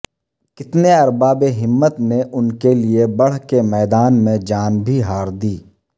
کتنے ارباب ہمت نے ان کے لئے بڑھ کے میدان میں جان بھی ہاردی